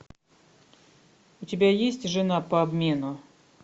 у тебя есть жена по обмену